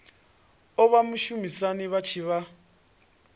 oa vhashumisani vha tshi vha